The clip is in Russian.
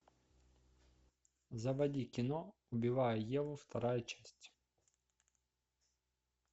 заводи кино убивая еву вторая часть